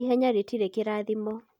ihēnyã rītirī kīrãthimõ